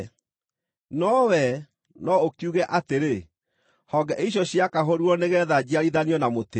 No wee no ũkiuge atĩrĩ, “Honge icio ciakahũrirwo nĩgeetha njiarithanio na mũtĩ.”